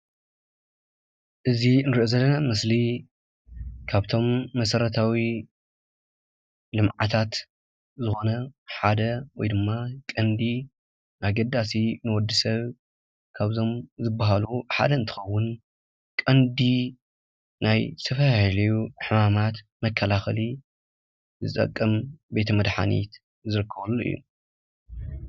እዚ እንርእዮ ዘለና ምስሊ ካብቶም መሰረታዊ ልምዓታት ዝኮነ ሓደ ወይድማ ቀንዲ ኣገዳሲ ንወዲ ሰብ ካብዞም ዝባሃሉ ሓደ እንትከውን ቀንዲ ናይ ዝተፈላለዩ ሕማማት መካለከሊ ዝጠቅም ቤተ መድሓኒት ዝርከበሉ እዩ።